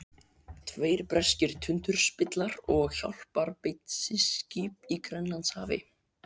Tveir breskir tundurspillar og hjálparbeitiskip í Grænlandshafi.